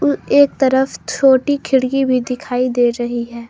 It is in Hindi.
एक तरफ छोटी खिड़की भी दिखाई दे रही है।